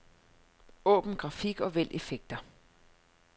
Åbn grafik og vælg effekter.